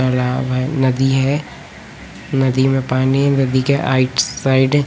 तलाब है नदी है नदी में पानी है नदी के आइट साइड --